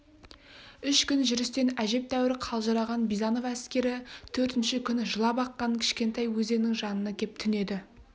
үш күн жүрістен әжептәуір қалжыраған бизанов әскері төртінші күні жылап аққан кішкентай өзеннің жанына кеп түнеді